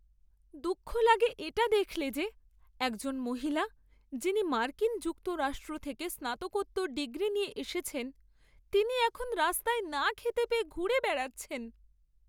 দুঃখ লাগে এটা দেখলে যে, একজন মহিলা যিনি মার্কিন যুক্তরাষ্ট্র থেকে স্নাতকোত্তর ডিগ্রি নিয়ে এসেছেন তিনি এখন রাস্তায় না খেতে পেয়ে ঘুরে বেড়াচ্ছেন।